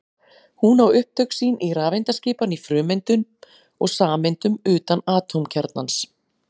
Hún á upptök sín í rafeindaskipan í frumeindum og sameindum utan atómkjarnans.